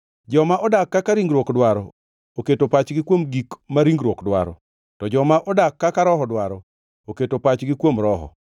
Joma odak kaka ringruok dwaro oketo pachgi kuom gik ma ringruok dwaro, to joma odak kaka Roho dwaro, oketo pachgi kuom Roho.